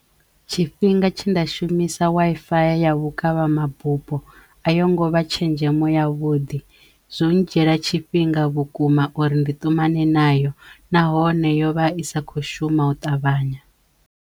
Tshifhinga tshe nda shumisa waifaya ya vhukavhamabupo a yo ngo vha tshenzhemo ya vhuḓi, zwo ndzhiela tshifhinga vhukuma uri ndi ṱumane nayo nahone yo vha i sa kho shuma u ṱavhanya.